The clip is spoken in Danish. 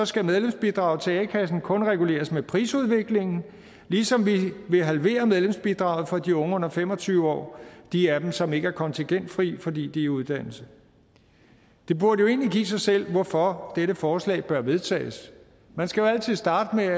skal medlemsbidraget til a kassen kun reguleres med prisudviklingen ligesom vi vil halvere medlemsbidraget for de unge under fem og tyve år de af dem som ikke er kontingentfrie fordi de er i uddannelse det burde jo egentlig give sig selv hvorfor dette forslag bør vedtages man skal jo altid starte med